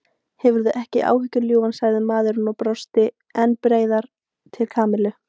Hafðu ekki áhyggjur ljúfan sagði maðurinn og brosti enn breiðar til Kamillu.